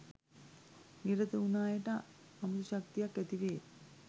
නිරත වුණු අයට අමුතුශක්‌තියක්‌ ඇති වේ